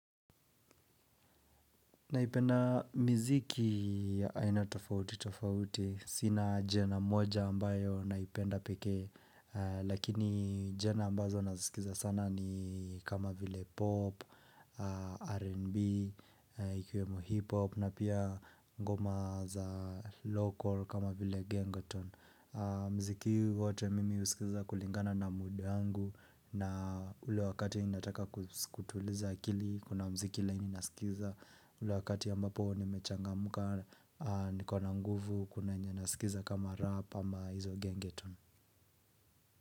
Naipenda mziki ya aina tofauti tofauti. Sina ajenda moja ambayo naipenda peke. Lakini jana ambazo nasikiza sana ni kama vile pop, R&B, ikiwemo hip hop na pia ngoma za local kama vile gengetone. Mziki wote mimi husikiza kulingana na mood yangu na ule wakati ninataka kutuliza akili Kuna mziki laini nasikiza ule wakati ambapo nimechangamka nikona nguvu kuna yenye nasikiza kama rap ama hizo gengetone.